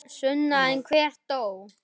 Sunna: En einhver þó?